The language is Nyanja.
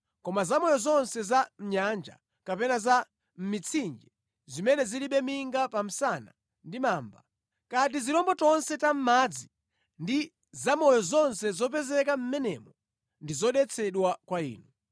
Koma zamoyo zonse za mʼnyanja kapena za mʼmitsinje zimene zilibe minga ya pa msana ndi mamba, kaya ndi tizirombo tonse ta mʼmadzi ndi zamoyo zonse zopezeka mʼmenemo ndi zodetsedwa kwa inu.